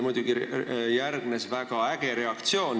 Muidugi järgnes väga äge reaktsioon.